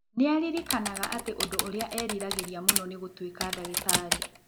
Nĩ aaririkanaga atĩ ũndũ ũrĩa eeriragĩria mũno nĩ gũtuĩka ndagĩtarĩ.